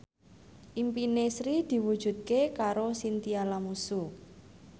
impine Sri diwujudke karo Chintya Lamusu